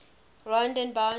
rondebult